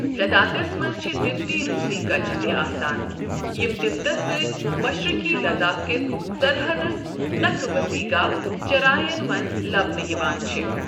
لداخس منز چھِ تبتی روُسۍ كچہِ تہِ آسان یِم تِبتس سۭتۍ مشرقی لداخ كِس سرحدس نكھہٕ وصیح گاہ چراین منز لبنہٕ یوان چھِ ۔